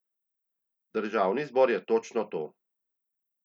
Državni zbor je točno to.